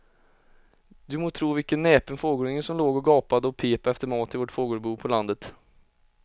Du må tro vilken näpen fågelunge som låg och gapade och pep efter mat i vårt fågelbo på landet.